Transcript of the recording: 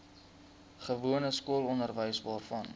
gewone skoolonderwys waarvan